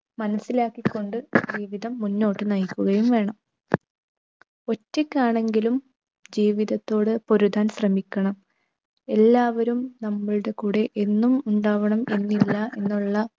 മനസിലാക്കികൊണ്ട് ജീവിതം മുന്നോട്ട് നയിക്കുകയും വേണം. ഒറ്റക്കാണെങ്കിലും ജീവിതത്തോട് പൊരുതാൻ ശ്രമിക്കണം. എല്ലാവരും നമ്മളുടെ കൂടെ എന്നും ഉണ്ടാവണം എന്നില്ല എന്നുള്ള